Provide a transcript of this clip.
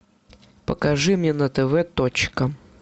покажи мне на тв точка